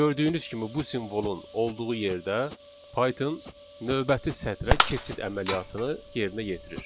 Gördüyünüz kimi bu simvolun olduğu yerdə Python növbəti sətrə keçid əməliyyatını yerinə yetirir.